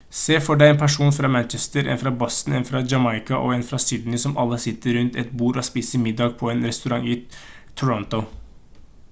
se for deg en person fra manchester en fra boston en fra jamaica og en fra sydney som alle sitter rundt et bord og spiser middag på en restaurant i toronto